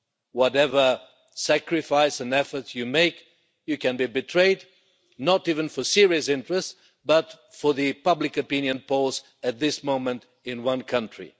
Whatever sacrifice and efforts you make, you can be betrayed, not even for serious interests but for the public opinion polls at this moment in one country.